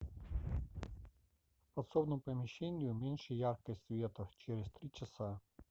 в подсобном помещении уменьши яркость света через три часа